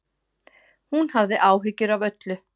Hún hafði áhyggjur af öllu.